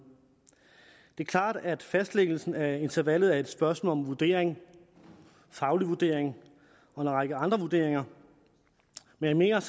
det er klart at fastlæggelsen af intervallet er et spørgsmål om vurdering faglig vurdering og en række andre vurderinger men jeg